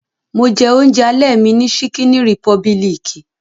Mo jẹ oúnjẹ alẹ́ mi ní ṣíkíní rìpọbilìkì.